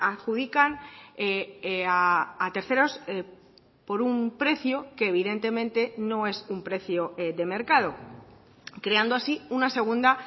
adjudican a terceros por un precio que evidentemente no es un precio de mercado creando así una segunda